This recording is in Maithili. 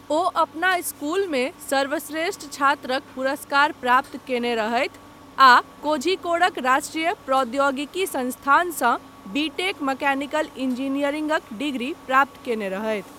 वो अपना इस्कूल मे सर्वश्रेष्ठ छात्रक पुरस्कार प्राप्त कयने रहथि आ कोझिकोडक राष्ट्रीय प्रौद्योगिकी संस्थानसँ बी. टेक. मैकेनिकल इंजीनियरिंगक डिग्री प्राप्त कयने रहथि।